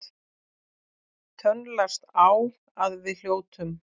Tönnlast á að við hljótum.